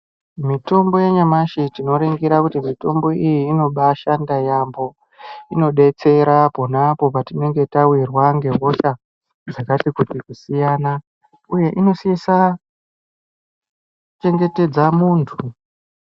Mitombo yanyamashi tinoningira kuti mitombo iyi inobashanda yambo inodetsera pona apo patinenge tawirwa nehosha dzakati kuti uye inosisa kuchengetedza muntu.